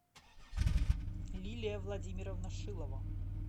лилия владимировна шилова